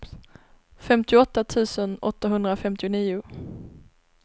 femtioåtta tusen åttahundrafemtionio